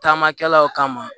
Taamakɛlaw kama